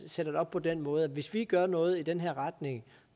sætter det op på den måde at hvis vi gør noget i den her retning